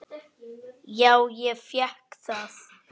Já, ég fékk það.